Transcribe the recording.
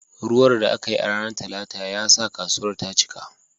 Ruwan da aka yi a ranar Talata ya sa kasuwar ta cika